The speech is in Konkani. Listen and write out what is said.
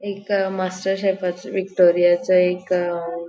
एक मास्टर शेफा विक्टोरिया चे एक अ --